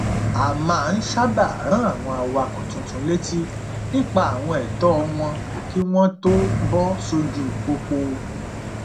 a máa n sábà rán àwọn awakọ tuntun létí nípa àwọn ẹtọ wọn kí wọn tó bọ sójú pópó